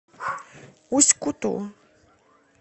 усть куту